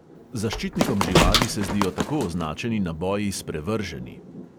Zaščitnikom živali se zdijo tako označeni naboji sprevrženi.